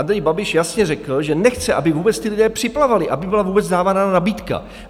Andrej Babiš jasně řekl, že nechce, aby vůbec ti lidé připlavali, aby byla vůbec dávána nabídka.